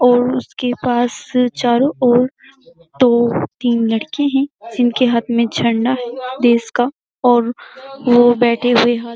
और उसके पास चारो ओर दो तीन लड़के हैं। जिनके हाथ में झंडा है देश का और बैठे हुए हाथ --